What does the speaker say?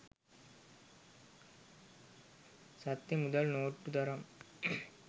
සත්‍ය මුදල් නෝට්ටු තරම්